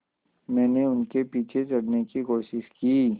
मैंने उनके पीछे चढ़ने की कोशिश की